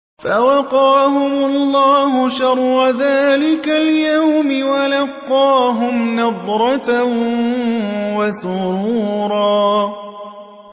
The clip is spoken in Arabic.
فَوَقَاهُمُ اللَّهُ شَرَّ ذَٰلِكَ الْيَوْمِ وَلَقَّاهُمْ نَضْرَةً وَسُرُورًا